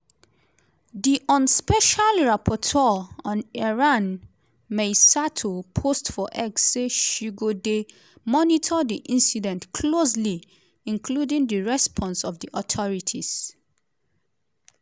di un special rapporteur on iran mai sato post for x say she go dey monitor di incident closely including di response of di authorities.